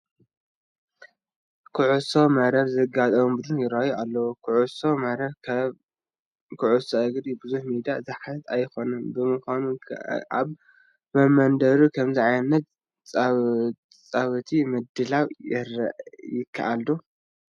ኩዕሶ መረብ ዝጋጠሙ ቡዱን ይርአዩ ኣለዉ፡፡ ኮዕሶ መረብ ከም ኩዕሶ እግሪ ብዙሕ ሜዳ ዝሓትት ኣይኮነን፡፡ ብምዃኑ ኣብ መመንደሩ ከምዚ ዓይነት ፃውቲ ምድላው ይከኣል ዶ?